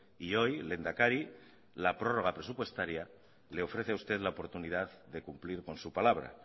y hoy lehendakari la prórroga presupuestaria le ofrece a usted la oportunidad de cumplir con su palabra